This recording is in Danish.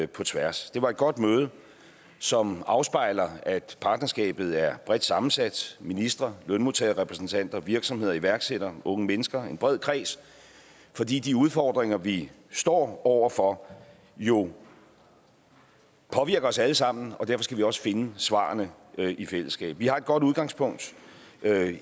på tværs det var et godt møde som afspejler at partnerskabet er bredt sammensat ministre lønmodtagerrepræsentanter virksomheder iværksættere unge mennesker en bred kreds fordi de udfordringer vi står over for jo påvirker os alle sammen og derfor skal vi også finde svarene i fællesskab vi har et godt udgangspunkt